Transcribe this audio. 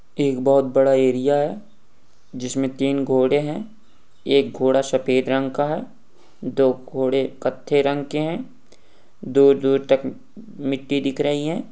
एक बहोत बड़ा एरिया है जिसमें तीन घोड़े हैं एक घोडा सफ़ेद रंग का है दो घोड़े कत्थे रंग के हैं तक मिट्टी दिख रही है।